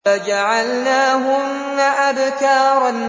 فَجَعَلْنَاهُنَّ أَبْكَارًا